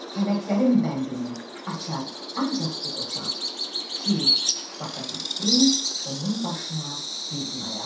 Fələklərin bəndini açar ancaq o qoçaq ki, basa bilsin onun başına bir gün ayaq.